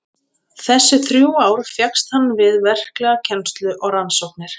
Þessi þrjú ár fékkst hann við verklega kennslu og rannsóknir.